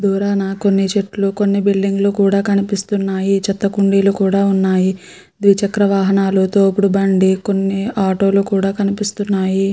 కొన్ని చేట్టులు కొన్ని బిల్డింగ్ లు కూడా కనిపిస్తున్నాయి. చెత్తకుండీలు కూడా ఉన్నాయ్ .